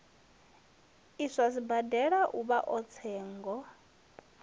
iswa sibadela uvha a tsengo